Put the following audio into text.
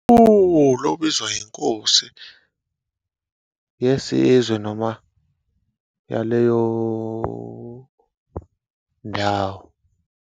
Uwulu obizwa iNkosi yesizwe noma yaleyo ndawo.